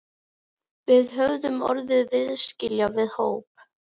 Við höfðum orðið viðskila við hóp